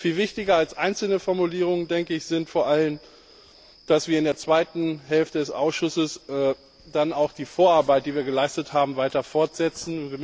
Viel wichtiger als einzelne Formulierungen ist vor allem, dass wir in der zweiten Hälfte des Ausschusses auch die Vorarbeit, die wir geleistet haben, weiter fortsetzen.